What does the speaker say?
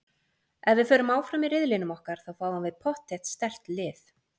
Ef við förum áfram í riðlinum okkar þá fáum við pottþétt sterkt lið.